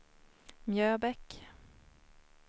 Mjöbäck